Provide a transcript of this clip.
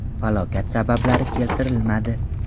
Falokat sabablari keltirilmadi.